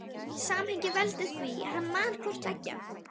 Samhengið veldur því að hann man hvort tveggja.